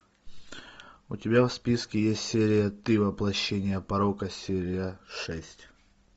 у тебя в списке есть серия ты воплощение порока серия шесть